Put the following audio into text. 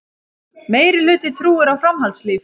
Meirihluti trúir á framhaldslíf